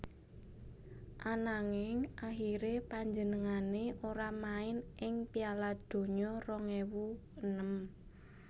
Ananging akhiré panjenengané ora main ing Piala Donya rong ewu enem